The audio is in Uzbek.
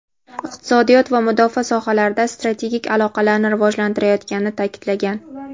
iqtisodiyot va mudofaa sohalarida strategik aloqalarni rivojlantirayotganini ta’kidlagan.